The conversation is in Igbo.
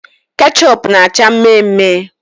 Kechup na acha mme mme